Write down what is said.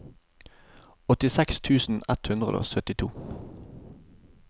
åttiseks tusen ett hundre og syttito